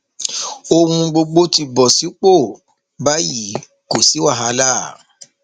ohun gbogbo ti bọ sípò báyìí kò sí wàhálà